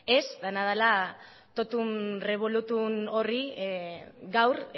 ez dena dela totum revolutum horri gaur